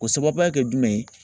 O sababuya kɛ jumɛn ye